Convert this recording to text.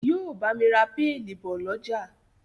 yíò bámi rà Pẹ́ẹ̀nì bó l'ọja